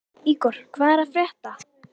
Ígor, hvað er að frétta?